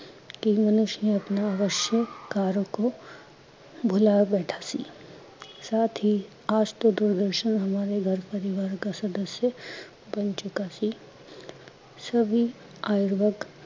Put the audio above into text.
ਕੀ ਮਨੁਸ਼ ਆਪਣੇ ਪ੍ਰਮੁੱਖੋਂ ਕਰਏ ਕੋ ਬੁਲਾ ਬੈਠਾ ਥਾ ਸਾਥ ਹੀਂ ਦੂਰਦਰਸ਼ਨ ਆਜ ਤੋਂ ਹਮਾਰੈ ਗਰ ਪਰਿਵਾਰ ਕਾ ਸਦਸਾਉ ਬਣ ਚੁਕਾ ਸੀ, ਸਬੀ ਅਯੁਰਿਕ ਵਰਗ